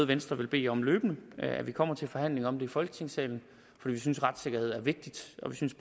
venstre vil bede om løbende at vi kommer til forhandling om det i folketingssalen for vi synes at retssikkerhed er vigtigt og vi synes